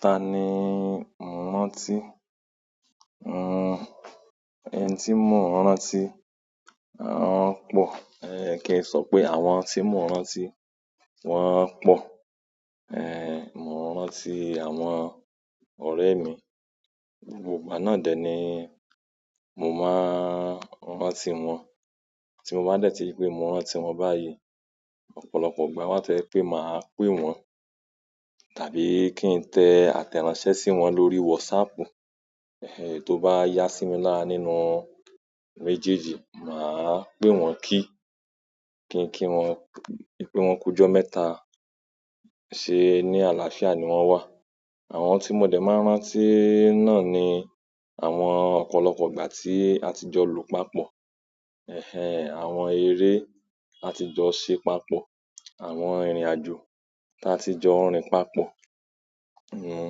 Ta ni mo rán tí? Nhu, ẹni tí mo rán tí, wọn pọ̀, eh, kí n sọ pé àwọn tí mo rán tí, wọn pọ̀. Eh, mo rán tí àwọn ọ̀rẹ́ mi, gbogbo ìgbà náà dẹ̀ ni mo máa rán tí wọn. Tí mo bá dẹ̀ tí pé mo rán tí wọn báyìí, ọ̀pọ̀lọpọ̀ ìgbà wọn tẹ̀ pé máa pè wọ́n, tàbí kí n tẹ àtẹ̀ránsẹ́ sí wọn lórí WhatsApp. Eh, è tó bá yá sí mi lára nínú méjèèjì, màá pè wọ́n kí, kí n kí wọn pé wọ́n ku jọ mẹ́ta, ṣé ní àlàáfíà ni wọ́n wà. Àwọn tí mo dẹ̀ máa rán tí náà ni àwọn ọ̀pọ̀lọpọ̀ ìgbà tí a ti jọ lò papọ̀. Eh-eh, àwọn eré a ti jọ ṣe papọ̀, àwọn ìrìnàjò tí a ti jọ rìn papọ̀. Un,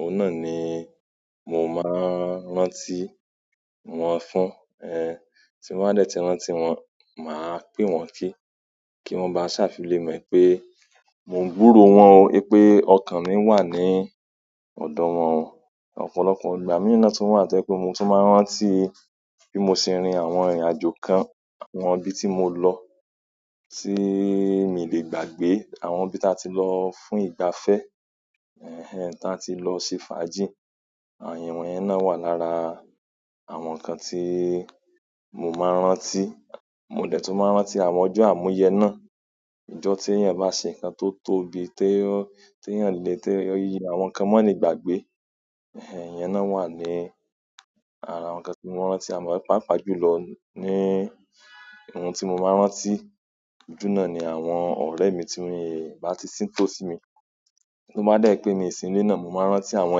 òun náà ni mo máa rán tí wọn fún. Eh, tí wọ́n dẹ̀ ti rán tí wọn, màá pè wọ́n kí, kí wọ́n máa ṣà filé mọ̀ pé mò ń gbúró wọn o, wípé ọkàn mi wà ní ọ̀dọ̀ wọn. Ọ̀pọ̀lọpọ̀ ìgbà mí náà tún wà tọ́jẹ́ pé mo tún máa rántí bí mo ṣe rìn àwọn ìrìnàjò kan, àwọn ibi tí mo lọ, tí mi lè gbàgbé, àwọn ibi tí a ti lọ fún ìgbafẹ́. Ẹ̀ hẹǹ, tá ti lọ ṣe fàájì, àwọn yẹn náà wà lára àwọn nǹkan tí mo máa ń rántí. Mo dẹ̀ tún máa ń rántí àwọn ọjọ́ àmúyẹ náà, ijọ́ tí èèyàn bá ṣe nǹkan tó tóbi tí tèèyaàn le té àwọn nǹkan málegbàgbé. Eh, ìyẹn náà wà ní ara àwọn kan tí mo rán tí. Àmọ́ pàápàá jùlọ ní ohun tí mo máa rán tí jù náà ni àwọn ọ̀rẹ́ mi tí wọ́n è bá ti ṣíń tó sí mi. Tí wọ́n bá dẹ̀ pé mí sì ń ilé náà, mo máa rántí àwọn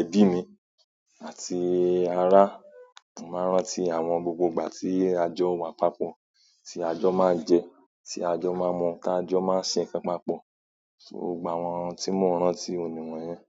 ẹbí mi àti ará, màá rántí àwọn gbogbo ìgbà tí a jọ wà papọ̀, tí a jọ máa jẹ, tí a jọ máa mu, tí a jọ máa ṣe nǹkan papọ̀. Gbogbo àwọn tí mò ń rán tí, òní wọn yẹn.